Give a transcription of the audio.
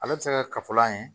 Ale bɛ se kɛ kafolan ye